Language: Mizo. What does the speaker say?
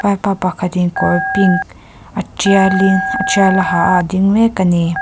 vaipa pakhatin kawr pink a tialin a tial a ha a a ding mek ani.